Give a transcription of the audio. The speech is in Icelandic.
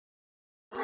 Eða hann nær mér.